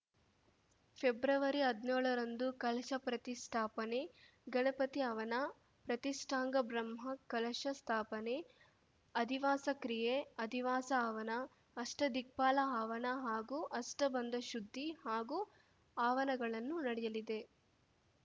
ಫೆಬ್ರವರಿಹದ್ನ್ಯೋಳ ರಂದು ಕಲಶ ಪ್ರತಿಷ್ಠಾಪನೆ ಗಣಪತಿ ಹವನ ಪ್ರತಿಷ್ಠಾಂಗ ಬ್ರಹ್ಮ ಕಲಶ ಸ್ಥಾಪನೆ ಅಧಿವಾಸ ಕ್ರಿಯೆ ಅಧಿವಾಸ ಹವನ ಅಷ್ಟದಿಕ್ಪಾಲ ಹವನ ಹಾಗೂ ಅಷ್ಟಬಂಧ ಶುದ್ಧಿ ಹಾಗೂ ಹವನಗಳನ್ನು ನಡೆಯಲಿದೆ